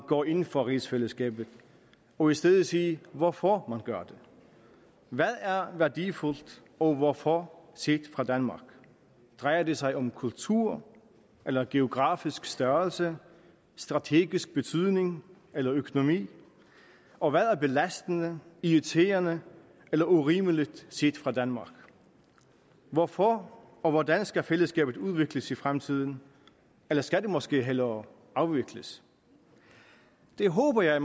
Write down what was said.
går ind for rigsfællesskabet og i stedet sige hvorfor man gør det hvad er værdifuldt og hvorfor set fra danmark drejer det sig om kultur eller geografisk størrelse om strategisk betydning eller økonomi og hvad er belastende irriterende eller urimeligt set fra danmark hvorfor og hvordan skal fællesskabet udvikles i fremtiden eller skal det måske hellere afvikles det håber jeg at